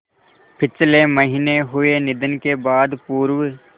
पिछले महीने हुए निधन के बाद पूर्व